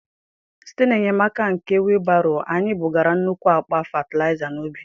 Site n’enyemaka nke wheelbarrow, anyị bugara nnukwu akpa fatịlaịza n’ubi.